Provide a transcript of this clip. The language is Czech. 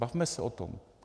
Bavme se o tom.